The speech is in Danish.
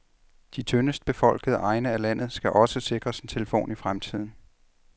De tyndest befolkede egne af landet skal også sikres en telefon i fremtiden.